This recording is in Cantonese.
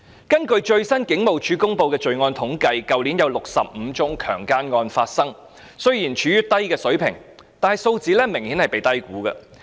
根據警務處最新公布的罪案統計數字，去年有65宗強姦案發生，看似處於低水平，但數字明顯被低估。